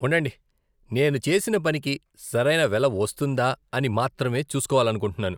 ఉండండి, నేను చేసిన పనికి సరైన వెల వస్తుందా అని మాత్రమే చూసుకోవాలనుకుంటున్నాను.